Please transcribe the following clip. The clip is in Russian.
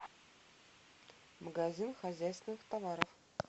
магазин хозяйственных товаров